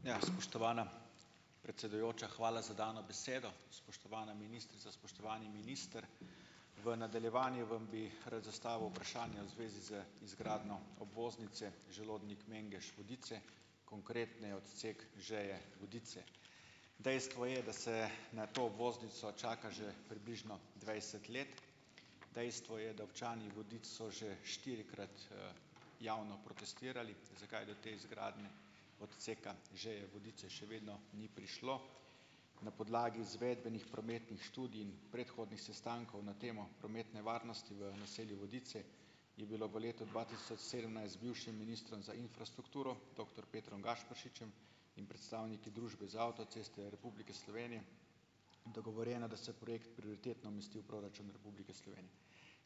Ja, spoštovana predsedujoča, hvala za dano besedo. Spoštovana ministrica, spoštovani minister. V nadaljevanju vam bi rad zastavil vprašanje v zvezi z izgradnjo obvoznice Želodnik-Mengeš-Vodice, konkretneje odsek Žeje-Vodice. Dejstvo je, da se na to obvoznico čaka že približno dvajset let. Dejstvo je, da občani Vodic so že štirikrat, javno protestirali, zakaj do te izgradnje odseka Žeje-Vodice še vedno ni prišlo. Na podlagi izvedenih prometnih študij in predhodnih sestankov na temo prometne varnosti v naselju Vodice je bilo v letu dva tisoč sedemnajst bivšim ministrom za infrastrukturo, doktor Petrom Gašperšičem in predstavniki Družbe za avtoceste v Republiki Sloveniji dogovorjeno, da se projekt prioritetno umesti v proračun Republike Slovenije.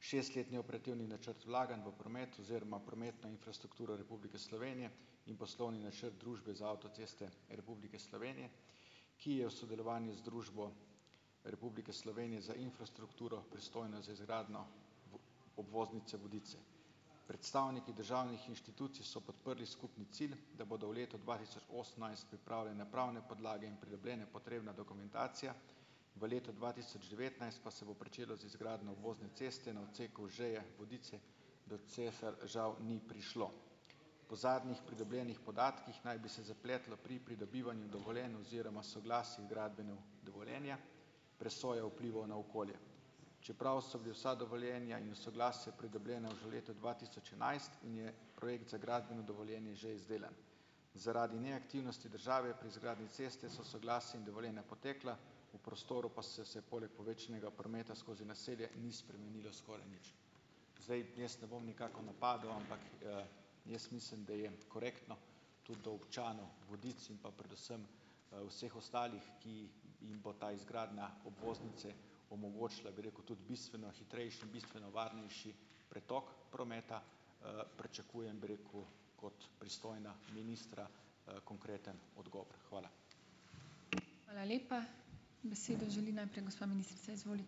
Šest let neoperativni načrt vlaganj v promet oziroma prometno infrastrukturo Republike Slovenije in poslovni načrt Družbe za avtoceste Republike Slovenije, ki je v sodelovanju z Družbo Republike Slovenije za infrastrukturo, pristojno za izgradnjo obvoznice Vodice. Predstavniki državnih inštitucij so podprli skupni cilj, da bodo v letu dva tisoč osemnajst pripravljene pravne podlage in pridobljena potrebna dokumentacija, v letu dva tisoč devetnajst pa se bo pričelo z izgradnjo obvozne ceste na odseku Žeje-Vodice, do česar žal ni prišlo. Po zadnjih pridobljenih podatkih naj bi se zapletlo pri pridobivanju dovoljenj oziroma soglasij h gradbenemu dovoljenju presojo vplivov na okolje. Čeprav so bila vsa dovoljenja in soglasja pridobljena že v letu dva tisoč enajst in je projekt za gradbeno dovoljenje že izdelan. Zaradi neaktivnosti države pri izgradnji ceste, so soglasje in dovoljenja potekla, v prostoru pa so se poleg povečanega prometa skozi naselje ni spremenilo skoraj nič. Zdaj, jaz ne bom nikakor napadal, ampak, jaz mislim, da je korektno tudi do občanov Vodic in pa predvsem, vseh ostalih, ki jih bo ta izgradnja obvoznice omogočila, bi rekel, tudi bistveno hitrejši in bistveno varnejši pretok prometa, pričakujem, bom rekel, od pristojnega ministra, konkreten odgovor. Hvala. Hvala lepa. Besedo želi najprej gospa ministrica, izvolite.